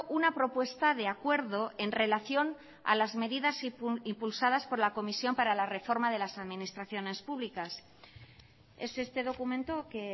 una propuesta de acuerdo en relación a las medidas impulsadas por la comisión para la reforma de las administraciones públicas es este documento que